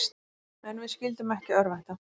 En við skyldum ekki örvænta.